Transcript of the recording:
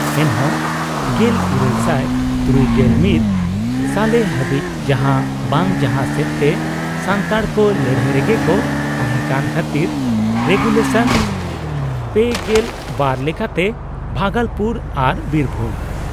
ᱮᱱᱦᱚᱸ 1861 ᱥᱟᱞᱮ ᱦᱟᱹᱵᱤᱡ ᱡᱟᱦᱟᱸ ᱵᱟᱝ ᱡᱟᱦᱟᱸ ᱥᱮᱫ ᱛᱮ ᱥᱟᱱᱛᱟᱲ ᱠᱚ ᱞᱟᱹᱲᱦᱟᱹᱭ ᱨᱮᱜᱮ ᱠᱚ ᱛᱟᱦᱮᱸ ᱠᱟᱱ ᱠᱷᱟᱛᱤᱨ ᱨᱮᱜᱩᱞᱮᱥᱚᱱ ᱓᱒ ᱞᱮᱠᱟᱛᱮ ᱵᱦᱟᱜᱚᱞᱯᱩᱨ ᱟᱨ ᱵᱤᱨᱵᱷᱩᱢ